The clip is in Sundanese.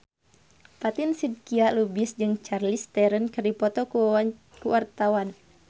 Fatin Shidqia Lubis jeung Charlize Theron keur dipoto ku wartawan